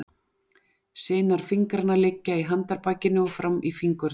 Sinar fingranna liggja í handarbakinu og fram í fingurna.